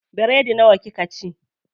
Biredi nawa kika ci?